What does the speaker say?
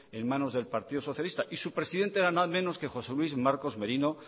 en manos de partido socialista y su presidente era nada menos que josé luis marcos merino